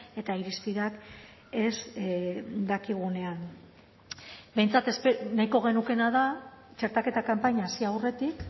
eta irizpideak ez dakigunean behintzat nahiko genukeena da txertaketa kanpaina hasi aurretik